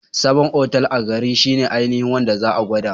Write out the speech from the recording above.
Sabon otal a garin shine ainihin wanda za'a gwada